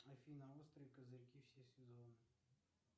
афина острые козырьки все сезоны